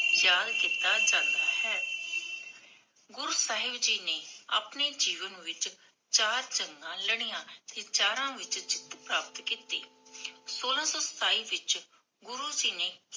ਯਾਦ ਕੀਤਾ ਯਾਂਦਾ ਹੈ ਗੁਰੂ ਸਾਹਿਬ ਜੀ ਨੇ ਆਪਣੇ ਜੀਵਨ ਵਿਚ, ਚਾਰ ਜੰਗਾ ਲੜੀਆਂ, ਤੇ ਚਾਰਾਂ ਵਿਚ ਜਿਤ ਪ੍ਰਾਪਤ ਕੀਤੀ ਸੋਲਾਂ ਸੋ ਸਤਾਈ ਵਿਚ ਗੁਰੂ ਜੀ ਨੇ